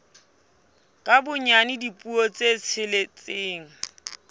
ka bonyane dipuo tse tsheletseng